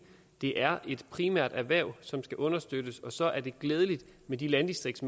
det er et primært erhverv som skal understøttes og så er det glædeligt med de landdistrikts